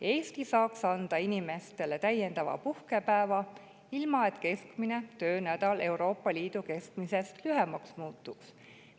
Eesti saaks anda inimestele lisapuhkepäeva, ilma et meie keskmine töönädal Euroopa Liidu keskmisest lühemaks muutuks.